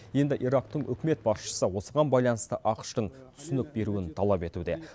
енді ирактың үкімет басшысы осыған байланысты ақш тың түсінік беруін талап етуде